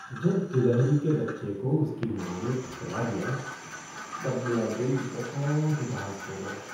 जब गिलहरी के बच्चे को उसकी माँ ने ठुकरा दिया तब मेरा दिल बहुत उदास हो गया।